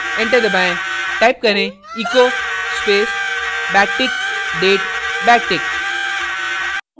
enter दबाएं type करें echo space backtick date backtick